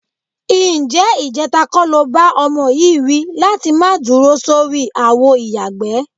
Ǹjé̩ ìje̩ta kó̩ lo bá o̩mo̩ yìí wí láti má dúro sórí àwo ìyàgbẹ́?